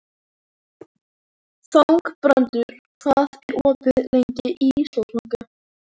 Þangbrandur, hvað er opið lengi í Íslandsbanka?